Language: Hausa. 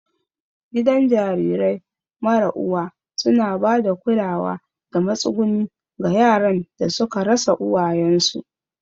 Gidan jarirai mara uwa suna ba da kulawa da matsuguni ga yaran da suka rasa uwayensu.